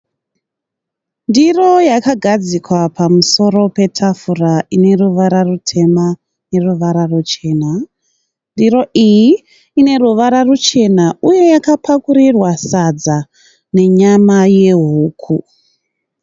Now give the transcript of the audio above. Ndiro yakagadzikwa pamusoro petafura ine ruvara rutema neruvara ruchena. Ndiro iyi ine ruvara ruchena uye yakapakurirwa sadza nenyama yehuku.